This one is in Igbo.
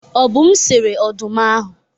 Obum sere ọdụm ahụ.